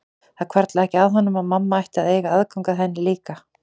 Það hvarflaði ekki að honum að mamma ætti að eiga aðgang að henni líka.